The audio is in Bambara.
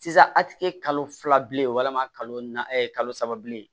Sisan a ti kɛ kalo fila bilen walima kalo na kalo saba bilen